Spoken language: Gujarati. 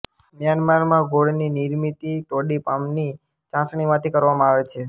મ્યાનમારમાં ગોળની નિર્મિતી ટોડી પામની ચાસણીમાંથી કરવામાં આવે છે